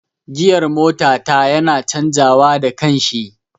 Giyar mota ta yana canja wa da kanshi